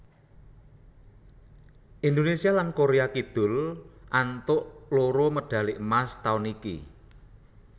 Indonésia lan Korea Kidul antuk loro medhali emas taun iku